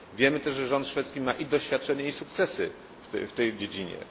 Wiemy też, że rząd szwedzki ma i doświadczenie, i sukcesy w tej dziedzinie.